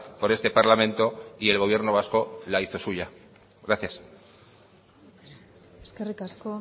por este parlamento y el gobierno vasco la hizo suya gracias eskerrik asko